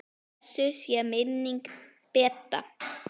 Blessuð sé minning Bedda.